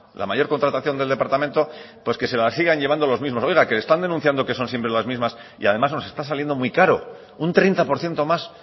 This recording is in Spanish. la mayor contratación del departamento pues que se la sigan llevando los mismos oiga que están denunciando que son siempre las mismas y además nos está saliendo muy caro un treinta por ciento más